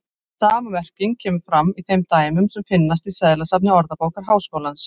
Sama merking kemur fram í þeim dæmum sem finnast í seðlasafni Orðabókar Háskólans.